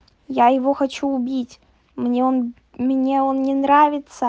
я его хочу убить мне он мне он не нравится